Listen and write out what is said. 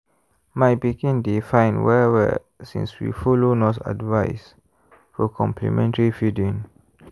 my pikin dey fine well-well since we follow nurse advice for complementary feeding.